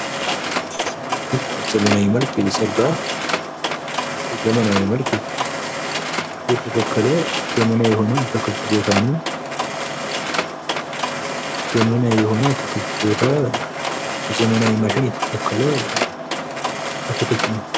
በዘመናዊ መልክ የሚጸዳ፣ በዘመናዊ መልክ የተተከለ አትክልት ነው።